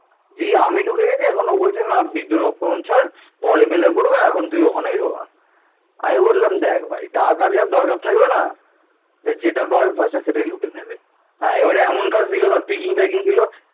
যেই আমি ঢুকে গেছি এখন ও বলছে ওসব ছাড় এখন তুই ওখানেই ঢোকা আমি বললাম দেখ ভাই টাকা যার দরকার থাকবে না সে যেটা পাবে first এ সেটাই লুটে নেবে হ্যাঁ এবারে এমন কাজ দিল